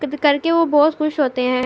کچھ کرکے وو بھوت خس ہوتے ہے۔